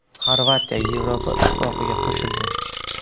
Xorvatiya Yevropa Ittifoqiga qo‘shildi.